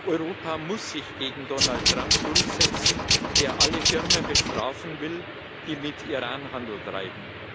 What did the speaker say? Europa muss sich gegen Donald Trump durchsetzen, der alle Firmen bestrafen will, die mit Iran Handel treiben.